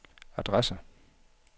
adresse